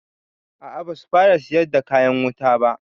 A a basu fara siyar da kayan wuta ba.